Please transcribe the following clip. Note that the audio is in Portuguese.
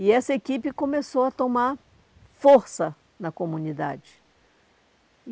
E essa equipe começou a tomar força na comunidade.